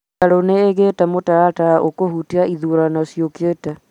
mbirarũ nĩigĩte mũtaratara ũkũhutia ithurano ciũkite